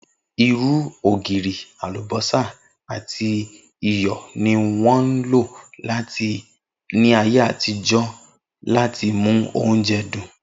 Irú, ògirì, àlùbó̩sà àti iyò̩ ni wó̩n ń lò láyé àtijó̩ láti mú oúnje̩ dùn